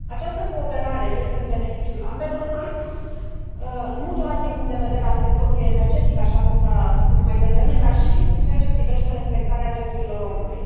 Această cooperare este în beneficiul ambelor părți nu doar din punctul de vedere al sectorului energetic, așa cum s a spus mai devreme, dar și în ceea ce privește respectarea drepturilor omului.